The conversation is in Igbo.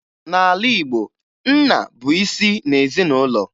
N'ala Igbo, nna bụ isi ezinụlọ